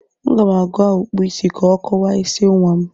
Aga m agwa Ọkpụụ isi ka ọ kọwaa isi nwa m.